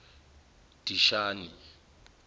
dishani